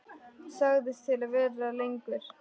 Sagðist til í að vera lengur.